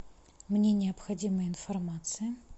мне необходима информация